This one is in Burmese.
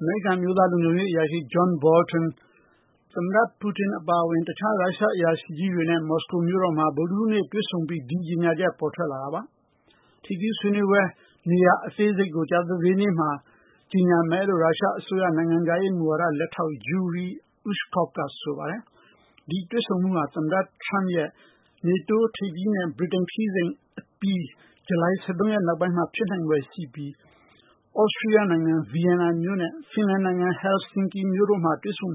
အမေရိကန်အမျိုးသား လုံခြုံရေးအကြံပေး John Bolton သမ္မတ ပူတင်နဲ့ ရုရှားအရာရှိကြီးတွေကို မော်စကိုမြို့တော်မှာ ဗုဒ္ဓဟူးနေ့ တွေ့ဆုံပြီးနောက် ဒီကြေညာချက် ပေါ်ထွက်လာတာ ဖြစ်ပါတယ်။ တွေ့ဆုံမယ့် နေရာအသေးစိတ်ကို ကြာသပတေးနေ့ ကြေညာမယ်လို့ ရုရှားအစိုးရ နိုင်ငံခြားရေးလက်ထောက် Yuri Ushakov ကဆိုပါတယ်။ သမ္မတ Trump နေတိုးထိပ်သီး အစည်းဝေးပွဲနဲ့ ဗြိတိန်ခရီးစဉ်အပြီး ဂျူလိုင်(၁၃)ရက်နောက်ပိုင်း သမ္မတ(၂)ဦးတွေ့ဆုံမှု ဖြစ်လာနိုင်ပြီး သြစတြီးယားနိုင်ငံ Vienna မြို့နဲ့ ဖင်လန်နိုင်ငံ Helsinki မြို့တို့ဟာ တွေ့ဆုံ